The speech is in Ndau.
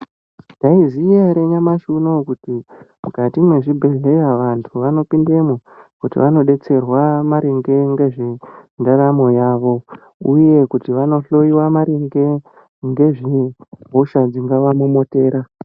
Maizviziya ere nyamashi unowu kuti mukati mwezvibhedhlera vantu vanopindemo kuti vandodetserwa maringe ngezvendaramo yavo uye kuti vandohloiwa maringe ngezvehosha dzingavanonokera .